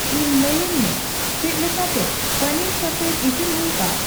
ᱤᱧ ᱞᱟᱹᱭᱟᱹᱧ ᱢᱮ ᱪᱮᱫᱞᱮᱠᱟᱛᱮ ᱯᱟᱹᱱᱤᱨ ᱥᱚᱯᱷᱮᱨ ᱤᱥᱤᱱ ᱦᱩᱭᱩᱜᱼᱟ